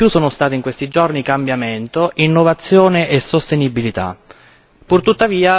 Quelle che mi hanno colpito di più sono state in questi giorni cambiamento, innovazione e sostenibilità.